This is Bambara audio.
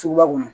Suguba kɔnɔ